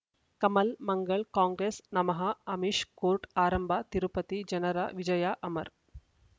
ಕಮಲ್ ಮಂಗಳ್ ಕಾಂಗ್ರೆಸ್ ನಮಃ ಅಮಿಷ್ ಕೋರ್ಟ್ ಆರಂಭ ತಿರುಪತಿ ಜನರ ವಿಜಯ ಅಮರ್